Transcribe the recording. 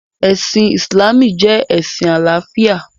Ẹ̀sìn Ìsìlámù jẹ́ ẹ̀sìn àláfíà.